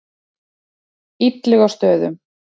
Illugastöðum